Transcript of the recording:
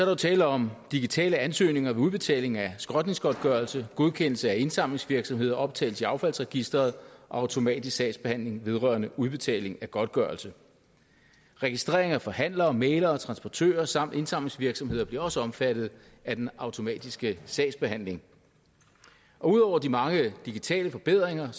jo tale om digitale ansøgninger ved udbetaling af skrotningsgodtgørelse godkendelse af indsamlingsvirksomheder optagelse i affaldsregisteret og automatisk sagsbehandling vedrørende udbetaling af godtgørelse registrering af forhandlere mæglere og transportører samt indsamlingsvirksomheder bliver også omfattet af den automatiske sagsbehandling og ud over de mange digitale forbedringer